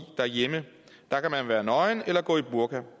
derhjemme der kan man være nøgen eller gå i burka